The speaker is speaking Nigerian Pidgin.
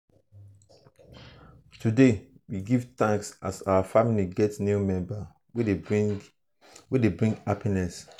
today we give thanks as our family get new member wey dey bring wey dey bring happiness.